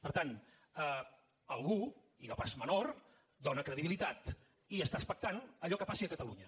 per tant algú i no pas menor dóna credibilitat i està expectant a allò que passi a catalunya